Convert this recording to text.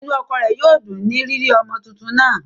Inú ọkọ rẹ̀ yóò dùn ní rírí ọmọ tuntun náà